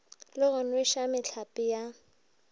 le go nweša mehlape ya